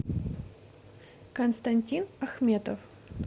константин ахметов